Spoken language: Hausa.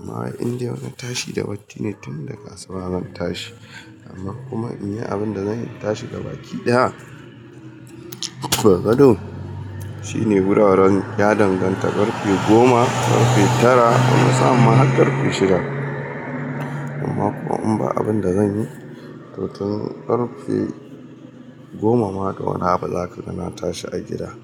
Amma in dai har na tashi da baccine tun daga asuba zan tashi amma kuma in yi abinda zan yi in tashi gabaki ɗaya daga gado shine wuraren ya danganta karfe goma, karfe tara wani sa'a ma har karfe shida. Amma kuma in ba abinda zanyi to tun karfe goma ma da wani abu za kaga na tashi a gida.